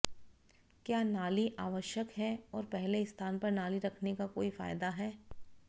क्या नाली आवश्यक है और पहले स्थान पर नाली रखने का कोई फायदा है